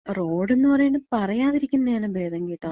റോഡെന്ന് പറയ്ണത് പറയാതിരിക്ക്യാണ് ഭേദം കേട്ടോ.